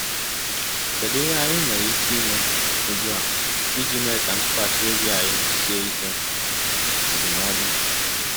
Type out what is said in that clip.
um Kedu ihe anyị nwere ike ime ugbu a iji mee ka ntụkwasị obi anyị sie ike? NDỤMỌDỤ